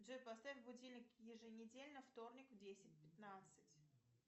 джой поставь будильник еженедельно вторник в десять пятнадцать